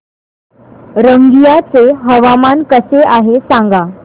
रंगिया चे हवामान कसे आहे सांगा